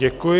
Děkuji.